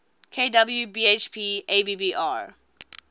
kw bhp abbr